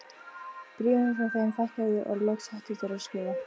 Bréfum frá þeim fækkaði og loks hættu þeir að skrifa.